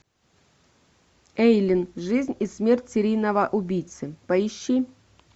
эйлин жизнь и смерть серийного убийцы поищи